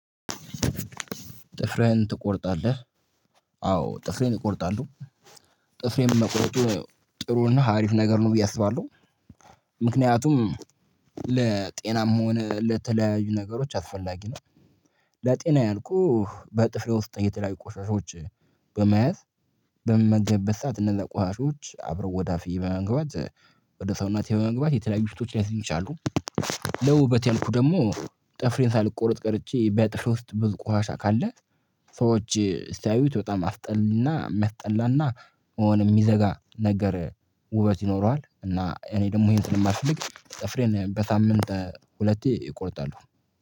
ጥፍርህን ትቆርጣለህ? አዎ ጥፍሬን እቆርጣለሁ። ጥፍሬን መቁረጡ ጥሩና አሪፍ ነገር ነው ብዬ አስባለሁ። ምክንያቱም ለጤናም ሆነ ለተለያዩ ነገሮች አስፈላጊ ነው። ለጤና ያልኩህ በጥፍሬ ውስጥ እየተለያዩ ቆሻሻዎች በመያዝ በምመገብበት ሰዓት እነዛ ቆሻሻዎች አብረው ወደ አፌ በመግባት ወደ ሰውነቴ በመግባት የተለያዩ በሽታዎችን ሊያስዙኝ ይችላሉ። ለውበቴ ያልኩ ደግሞ ጥፍሬን ሳልቆረጥ ቀርቼ በጥፍሬ ውስጥ ብዙ ቆሻሻ ካለ ሰዎች ሲያዩት በጣም አስጠሊና በጣም የሚያስጠላና የሚዘጋ ነገር ውበት ይኖረዋል እና እኔ ደግሞ ይሄን ስለማልፈልግ ጥፍሬን በሳምንት ሁለቴ እቆርጣለሁ